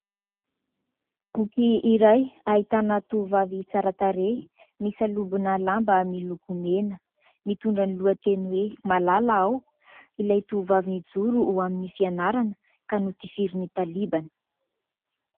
Boky iray ahitana tovovavy tsara tarehy, misalobona lamba miloko mena, mitondra ny lohateny hoe malala aho. Ilay tovavy nijoro ho amin'ny fianarana ka notifirin'ny Talibana.